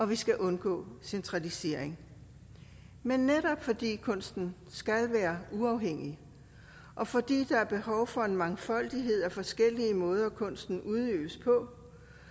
vi skal undgå centralisering men netop fordi kunsten skal være uafhængig og fordi der er behov for en mangfoldighed af forskellige måder kunsten udøves på